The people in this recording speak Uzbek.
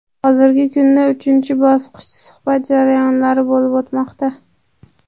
Hozirgi kunda uchinchi bosqich – suhbat jarayonlari bo‘lib o‘tmoqda.